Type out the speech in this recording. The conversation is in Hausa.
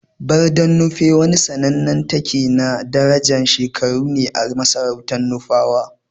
Barden Nupe wani sannanen take na darajan shekaru ne a masarautan Nufawa.